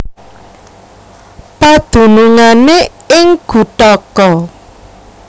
Padunungané ing Guthaka